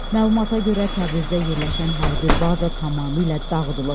Məlumata görə, Təbrizdə yerləşən hərbi baza tamamilə dağıdılıb.